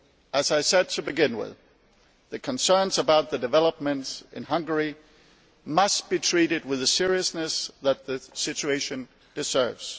As I said to begin with, the concerns about the developments in Hungary must be treated with the seriousness that the situation deserves.